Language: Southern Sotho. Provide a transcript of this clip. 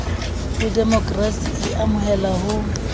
ho demokrasi e amohelang ho